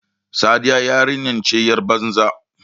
Sadiya yarinya ce yar banza.